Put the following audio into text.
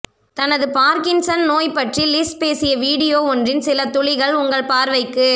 தனது பார்கின்சன் நோய் பற்றி லிஸ் பேசிய வீடியோ ஒன்றின் சில துளிகள் உங்கள் பார்வைக்கு